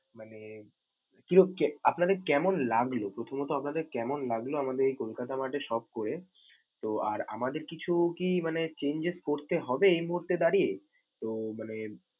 মানে কির~ কে আপনারা কেমন লাগলো, প্রথমত আপনাদের কেমন লাগলো আমাদের এই কলকাতা mart এ shop করে. তো আর আমাদের কিছু কি মানে changes করতে হবে এই মুহূর্তে দাঁড়িয়ে? তো মানে।